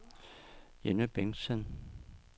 Jenny Bengtsen